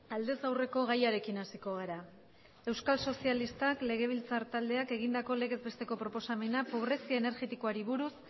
aldez aurreko gaiarekin hasiko gara euskal sozialistak legebiltzar taldeak egindako legez besteko proposamena pobrezia energetikoari buruz